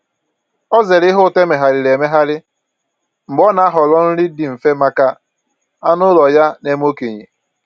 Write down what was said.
Ọ zeere ihe ụtọ emegharịrị emegharị mgbe ọ na-ahọrọ nri dị mfe maka anụ ụlọ ya na-eme okenye